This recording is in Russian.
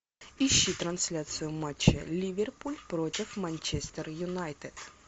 ищи трансляцию матча ливерпуль против манчестер юнайтед